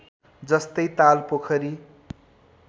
जस्तै ताल पोखरी